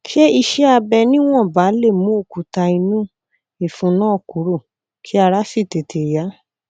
ṣé iṣẹ abẹ níwọnba lè mú òkúta inú ìfun náà kúrò kí ara sì tètè yá